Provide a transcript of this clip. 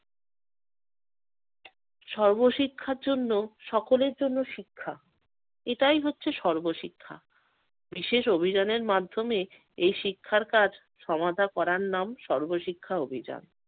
সর্বশিক্ষার জন্য সকলের জন্য শিক্ষা এটাই হচ্ছে সর্বশিক্ষা। বিশেষ অভিযানের মাধ্যমে এই শিক্ষার কাজ সমাধা করার নাম সর্বশিক্ষা অভিযান।